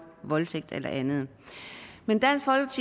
voldtægt eller andet men